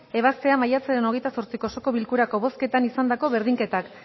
ebaztea martxoaren hogeita zortziko osoko bilkurako bozketan izandako berdinketak